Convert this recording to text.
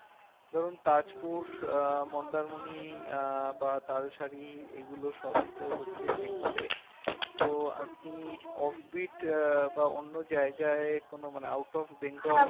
বরং তাজপুর মন্দারমণি আহ বা তালশাড়ি এগুলো সবই তো হচ্ছে বেঙ্গলে তো আপনি offbeat বা অন্য জায়গায় কোনো মানে out of bengal